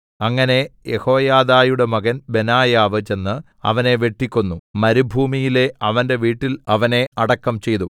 അങ്ങനെ യെഹോയാദയുടെ മകൻ ബെനായാവ് ചെന്ന് അവനെ വെട്ടിക്കൊന്നു മരുഭൂമിയിലെ അവന്റെ വീട്ടിൽ അവനെ അടക്കം ചെയ്തു